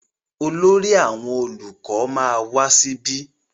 Olórí àwọn olùkọ ma wá síbí.